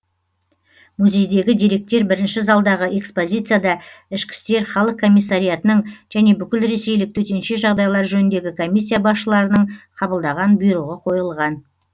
музейдегі деректер бірінші залдағы экспозицияда ішкі істер халық комиссариятының және бүкілресейлік төтенше жағдайлар жөніндегі комиссия басшыларының қабылдаған бұйрығы қойылған